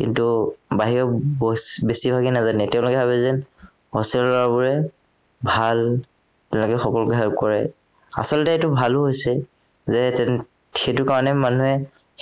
কিন্তু বাহিৰৰ বছ বেছিভাগেই নাজানে তেওঁলোকে ভাৱে যে hostel ৰ লৰাবোৰেই ভাল যেনেকে ফকৰ behave কৰে আচলতে এইটো ভালো হৈছে যে সেইটোকোৰণে মানুহে